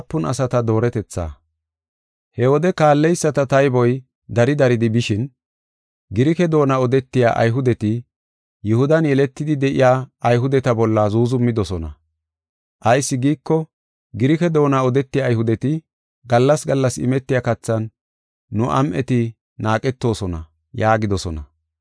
He wode kaalleyisata tayboy dari daridi bishin, Girike doona odetiya Ayhudeti Yihudan yeletidi de7iya Ayhudeta bolla zuuzumidosona. Ayis giiko, Girike doona odetiya Ayhudeti, “Gallas gallas imetiya kathan nu am7eti naaqetosona” yaagidosona.